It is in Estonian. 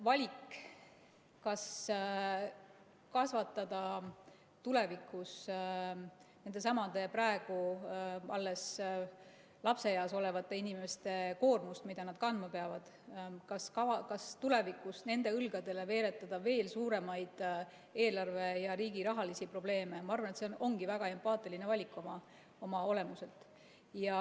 Valik, kas kasvatada tulevikus nendesamade, praegu alles lapseeas olevate inimeste koormust, mida nad kandma peavad, kas tulevikus nende õlgadele veeretada veel suuremaid riigi eelarve‑ ja rahaprobleeme, ma arvan, ongi väga empaatiline valik oma olemuselt.